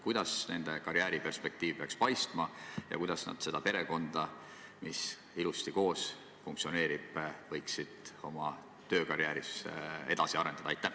Kuidas nende karjääriperspektiiv peaks paistma ja kuidas nad seda perekonda, mis ilusasti koos funktsioneerib, võiksid oma töökarjääris edasi arendada?